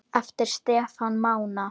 Eftir Stefán Mána.